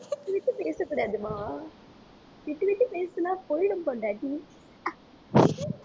விட்டு பேசக்கூடாதும்மா ஆஹ் விட்டு விட்டு பேசுனா போயிடும் பொண்டாட்டி